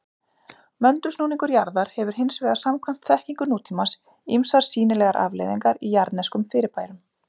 Möndulsnúningur jarðar hefur hins vegar samkvæmt þekkingu nútímans ýmsar sýnilegar afleiðingar í jarðneskum fyrirbærum.